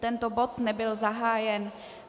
Tento bod nebyl zahájen.